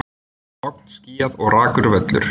Logn, skýjað og rakur völlur.